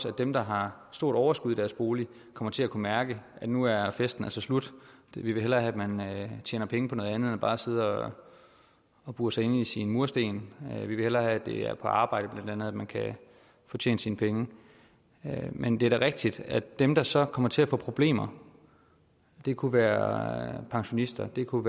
at dem der har stort overskud i deres bolig kommer til at kunne mærke at nu er festen altså slut vi vil hellere have at man tjener penge på noget andet end bare sidde og bure sig inde mellem sine mursten vi vil hellere have at det er på arbejde bla man kan tjene sine penge men det er da rigtigt at dem der så kommer til at få problemer det kunne være pensionister det kunne